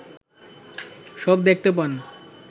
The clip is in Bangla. সব দেখতে পান